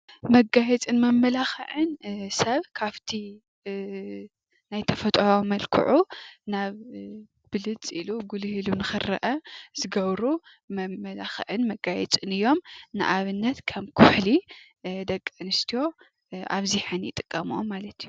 መጋያፅን መመላክዕን ሰብ ካብቲ ናይ ተፈጥራዊ መልክዑ ብልፅ ኢሉ ጉልህ ኢሉ ንክረአ ዝገብሩ መመላክዕን መጋየፅን እዮም። ንኣብነት ከም ኹሕሊ ደቂ ኣንስትዮ ኣብዚሐን ይጥቀመኦ።